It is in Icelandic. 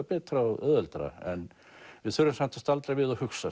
betra og auðveldara en við þurfum samt að staldra við og hugsa